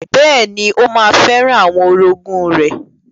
Bẹ́ẹ̀ni, ó ma fẹ́ràn àwọn orogún rẹ̀.